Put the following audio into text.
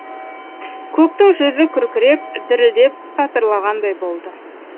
көктің жүзі күркіреп дірілдеп сатырлағандай болды